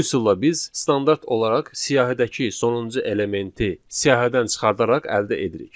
Bu üsulla biz standart olaraq siyahıdakı sonuncu elementi siyahıdan çıxardaraq əldə edirik.